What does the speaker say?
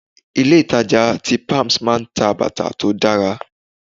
Ilé ìtàjà tí palms máa ń ta bàtà tó dára.